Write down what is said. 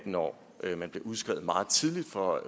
når man bliver udskrevet meget tidligt fra